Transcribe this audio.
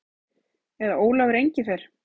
Eða Ólafur Engifer.